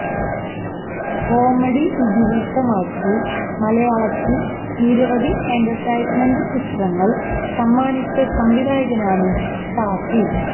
comedy ഇതിവൃത്തമാക്കി മലയാളത്തില് നിരവധി എന്റര്ടെയിന്മെന്റ് ചിത്രങ്ങള് സമ്മാനിച്ച സംവിധായകനാണ് ഷാഫി